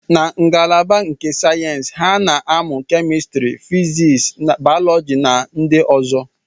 Na ngalaba nke sayensị, ha na-amụ kemistri, physics, bayoloji na ndị ọzọ